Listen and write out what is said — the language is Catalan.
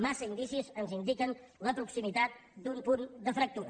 massa indicis ens indiquen la proximitat d’un punt de fractura